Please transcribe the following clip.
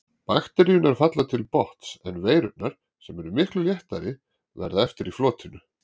Bakteríurnar falla til botns en veirurnar, sem eru miklu léttari, verða eftir í flotinu.